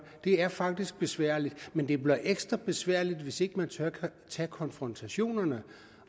det er faktisk besværligt men det bliver ekstra besværligt hvis ikke man tør tage konfrontationerne